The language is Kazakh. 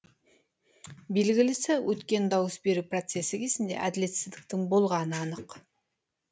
белгілісі өткен дауыс беру процесі кезінде әділетсіздіктің болғаны анық